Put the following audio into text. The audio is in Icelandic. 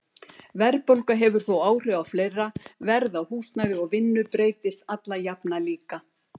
Verðbólga hefur þó áhrif á fleira, verð á húsnæði og vinnu breytist alla jafna líka.